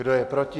Kdo je proti?